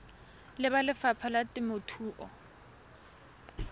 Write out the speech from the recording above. le ba lefapha la temothuo